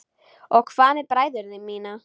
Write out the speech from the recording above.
Og hvað með bræður mína?